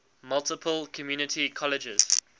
multiple community colleges